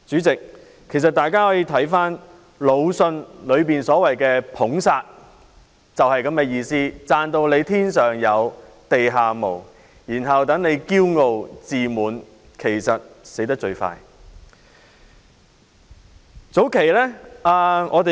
代理主席，魯迅所謂的"捧殺"就是這樣的意思，把人讚得"天上有、地下無"，他就會驕傲、自滿，其實就會最快喪命。